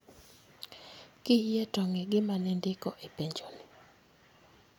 Kiyie to ng'i gima ne indiko e penjo ni